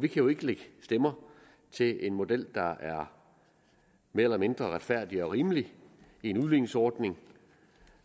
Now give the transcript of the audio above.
vi kan jo ikke lægge stemmer til en model der er mere eller mindre retfærdig og rimelig i en udligningsordning